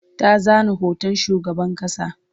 ta zana hoton shugaban ƙasa